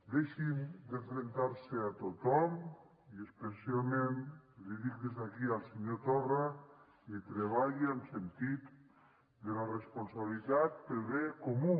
deixin d’enfrontar se a tothom i especialment li dic des d’aquí al senyor torra i treballi amb sentit de la responsabilitat pel bé comú